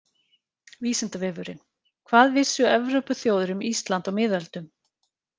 Vísindavefurinn: Hvað vissu Evrópuþjóðir um Ísland á miðöldum?